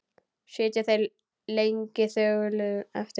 Sitja þeir lengi þögulir eftir.